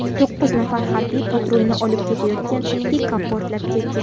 To‘qqiz nafar harbiy patrulni olib ketayotgan pikap portlab ketgan.